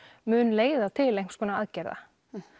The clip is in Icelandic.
mun leiða til einhvers konar aðgerða